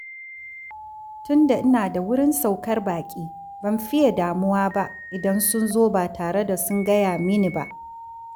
Tunda ina da wurin saukar baƙi, ban fiye damuwa ba idan sun zo ba tare da sun gaya mini ba.